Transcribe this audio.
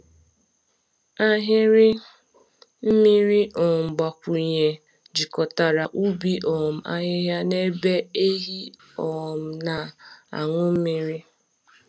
Ahịrị mmiri um mgbakwunye jikọtara ubi um ahịhịa na ebe ehi um na-aṅụ mmiri.